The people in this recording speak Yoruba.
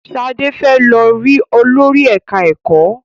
Shade fè ló rí Olórí ẹka ẹkọ.